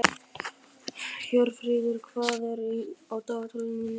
Hjörfríður, hvað er á dagatalinu mínu í dag?